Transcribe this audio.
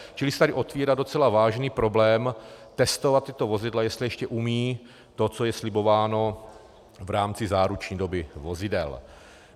Čili se tady otvírá docela vážný problém testovat tato vozidla, jestli ještě umějí to, co je slibováno v rámci záruční doby vozidel.